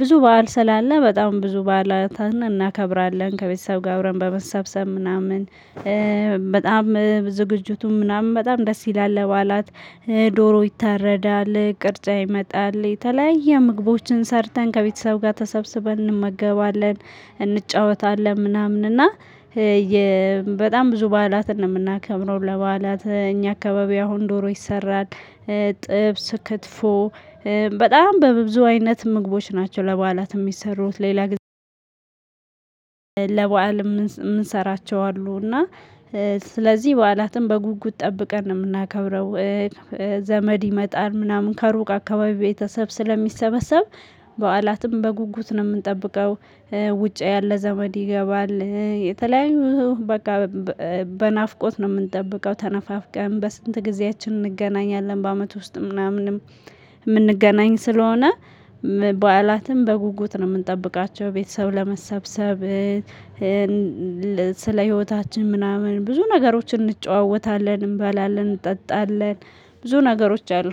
ብዙ በዓል ስላለ በጣም ብዙ በዓላትን እናከብራለን። ከቤተሰብ ጋር አብረን በመሰብሰብ ምናምን በጣም ዝግጅቱን ምናምን በጣም ደስ ይላል። ለበዓላት ዶሮ ይታረዳል፣ ቅርጫ ይመጣል። የተለያየ ምግቦችን ሰርተን ከቤተሰቡ ጋር ተሰብስበን እንመገባለን፣ እንጫወታለን ምናምን እና በጣም ብዙ በዓላትን ነው የምናከምረው። ለበዓላት እኛ አካባቢ አሁን ዶሮ ይሰራል፣ ጥብስ፣ ክትፎ በጣም በብዙ አይነት ምግቦች ናቸው ለበዓላት የሚሰሩት። ሌላ ጊዜ ለበአል የምንሰራቸው አሉ። እና ስለዚህ በዓላትን በጉጉት ጠብቀን ነው የምናከብረው። ዘመድ ይመጣል ምናምን ከሩቅ አካባቢ ቤተሰብ ስለሚሰበሰብ በዓላትም በጉጉት ነው የምንጠብቀው። ውጭ ያለ ዘመድ ይገባል። የተለያዩ በቃ በናፍቆት ነው የምንጠብቀው። ተነፋፍቀን በስንት ጊዜያችን እንገናኛለን። በአመት ውስጥ ምናምንም የምንገናኝ ስለሆነ በዓላትም በጉጉት ነው የምንጠብቃቸው። ቤተሰብ ለመሰብሰብ ስለ ህይወታችን ምናምን ብዙ ነገሮችን እንጨዋወታለን እንበላለን፣ እንጠጣለን ብዙ ነገሮች አሉ።